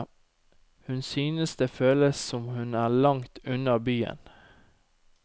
Hun synes det føles som om hun er langt unna byen.